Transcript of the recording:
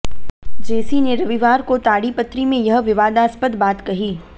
जेसी ने रविवार को ताडिपत्री में यह विवादास्पद बात कही